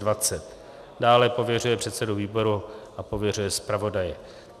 Dále pověřuje předsedu výboru a pověřuje zpravodaje.